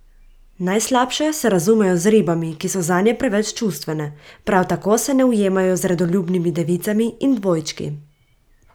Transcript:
Najslabše se razumejo z ribami, ki so zanje preveč čustvene, prav tako se ne ujemajo z redoljubnimi devicami in dvojčki.